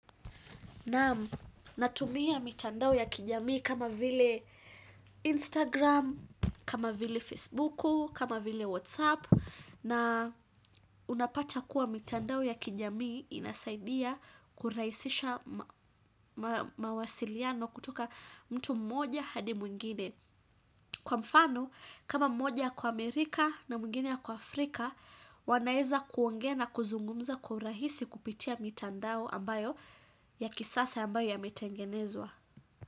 Naam natumia mitandao ya kijamii kama vile Instagram, kama vile Facebook, kama vile Whatsapp na unapata kuwa mitandao ya kijamii inasaidia kurahisisha mawasiliano kutuka mtu mmoja hadi mwingine Kwa mfano, kama mmoja ako Amerika na mwingine ako Afrika, wanaweza kuongea na kuzungumza kwa urahisi kupitia mitandao ambayo ya kisasa ambayo yametengenezwa.